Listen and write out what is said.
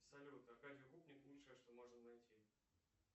салют аркадий укупник лучшее что можно найти